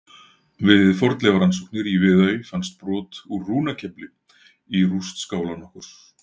Við fornleifarannsóknir í Viðey fannst brot úr rúnakefli í rúst skála nokkurs.